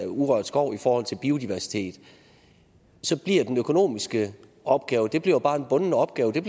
urørt skov i forhold til biodiversitet så bliver den økonomiske opgave jo bare en bunden opgave